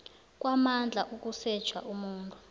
kwamandla ukusetjha umuntu